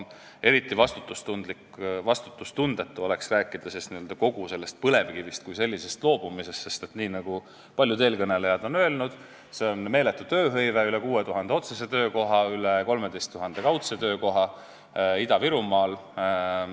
Eriti vastutustundetu oleks rääkida põlevkivist kui sellisest loobumisest, sest nii nagu paljud eelkõnelejad on öelnud, sellega on seotud meeletu tööhõive: üle 6000 otsese töökoha ja üle 13 000 kaudse töökoha Ida-Virumaal.